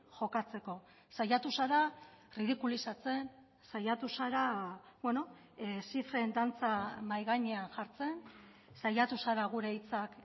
jokatzeko saiatu zara ridikulizatzen saiatu zara beno zifren dantza mahai gainean jartzen saiatu zara gure hitzak